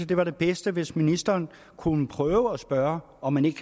det var det bedste hvis ministeren kunne prøve at spørge om man ikke